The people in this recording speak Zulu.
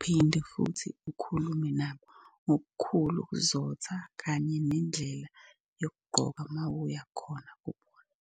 Uphinde futhi ukhulume nabo ngokukhulu ukuzotha kanye nendlela yokugqoka uma uya khona kubona.